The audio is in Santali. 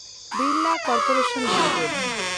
Birla corporation limited